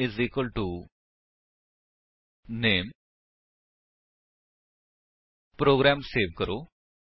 is equal to the name program save ਕਰੋ